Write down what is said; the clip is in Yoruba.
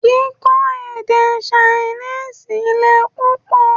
Kíkọ́ èdè Ṣainíìsì le pupọ